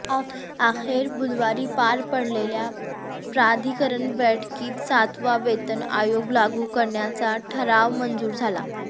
अखेर बुधवारी पार पडलेल्या प्राधिकरण बैठकीत सातवा वेतन आयोग लागू करण्याचा ठराव मंजूर झाला